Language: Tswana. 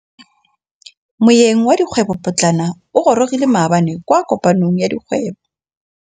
Moêng wa dikgwêbô pôtlana o gorogile maabane kwa kopanong ya dikgwêbô.